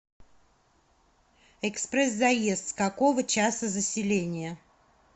экспресс заезд с какого часа заселение